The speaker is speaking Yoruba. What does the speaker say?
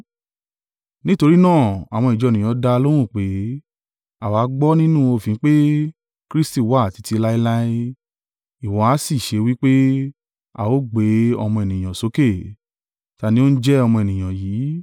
Nítorí náà àwọn ìjọ ènìyàn dá a lóhùn pé, “Àwa gbọ́ nínú òfin pé, Kristi wà títí láéláé, ìwọ ha ṣe wí pé, ‘A ó gbé Ọmọ Ènìyàn sókè’? Ta ni ó ń jẹ́ ‘Ọmọ Ènìyàn yìí’?”